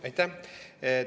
Aitäh!